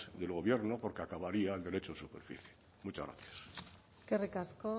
del gobierno porque acabaría el derecho de superficie muchas gracias eskerrik asko